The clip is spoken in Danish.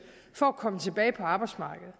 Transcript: for komme tilbage på arbejdsmarkedet